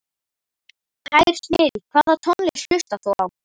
Tær snilld Hvaða tónlist hlustar þú á?